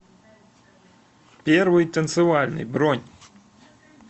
первый танцевальный бронь